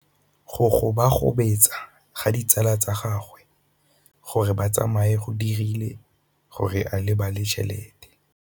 Go gobagobetsa ga ditsala tsa gagwe, gore ba tsamaye go dirile gore a lebale tšhelete.